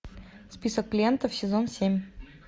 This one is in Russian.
список клиентов сезон семь